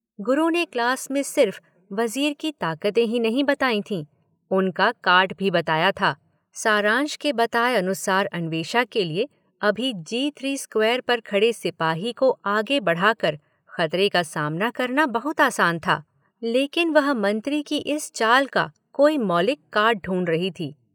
गुरु ने क्लास में सिर्फ़ वज़ीर की ताकत ही नहीं बताई थी उनका काट भी बताया था। सारंश के बताए अनुसार अन्वेषा के लिए अभी जी थ्री स्क्वायर पर खड़े सिपाही को आगे बढ़ा कर खतरे का सामना करना बहुत आसान था, लेकिन वह मंत्री की इस चाल का कोई मौलिक काट ढूंढ रही थी।